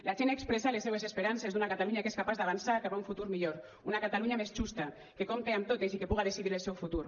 la gent ha expressat les seues esperances d’una catalunya que és capaç d’avançar cap a un futur millor una catalunya més justa que compte amb totes i que puga decidir el seu futur